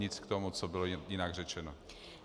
Nic k tomu, co bylo jinak řečeno.